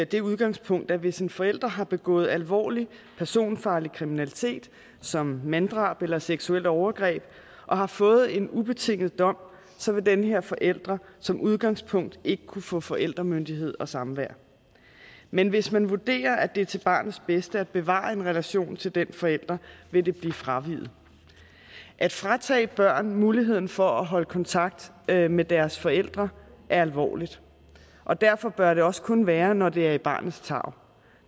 det udgangspunkt at hvis en forælder har begået alvorlig personfarlig kriminalitet som manddrab eller seksuelt overgreb og har fået en ubetinget dom så vil denne forælder som udgangspunkt ikke kunne få forældremyndighed og samvær men hvis man vurderer at det er til barnets bedste at bevare en relation til den forælder vil det blive fraveget at fratage børn muligheden for at holde kontakt med med deres forældre er alvorligt og derfor bør det også kun være når det er i barnets tarv